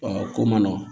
Ɔ ko man nɔgɔn